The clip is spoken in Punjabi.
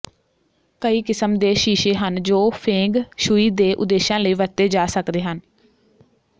ਕਈ ਕਿਸਮ ਦੇ ਸ਼ੀਸ਼ੇ ਹਨ ਜੋ ਫੇਂਗ ਸ਼ੂਈ ਦੇ ਉਦੇਸ਼ਾਂ ਲਈ ਵਰਤੇ ਜਾ ਸਕਦੇ ਹਨ